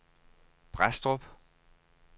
Brædstrup